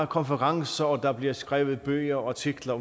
konferencer og der bliver skrevet bøger og artikler